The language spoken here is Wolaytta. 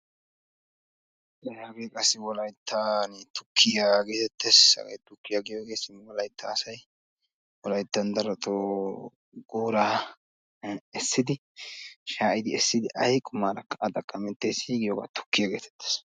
Wolaytta tukiya geetettes. Ha tukke wolayttan asay shaa'iddinne essiddi uyiyo tukiya geeteetes.